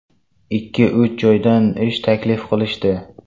Ikki-uch joydan ish taklif qilishdi.